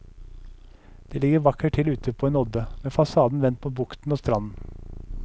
Det ligger vakkert til ute på en odde, med fasaden vendt mot bukten og stranden.